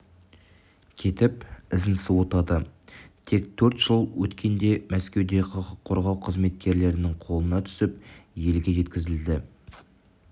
кетіп ізін суытады тек төрт жыл өткенде мәскеуде құқық қорғау қызметкерлерінің қолына түсіп елге жеткізілді